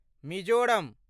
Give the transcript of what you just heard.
Mizoram